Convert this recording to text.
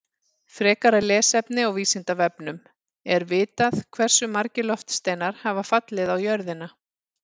Frekara lesefni á Vísindavefnum: Er vitað hversu margir loftsteinar hafa fallið á jörðina?